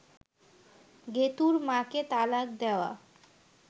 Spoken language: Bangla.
গেতুঁর মা’কে তালাক দেওয়া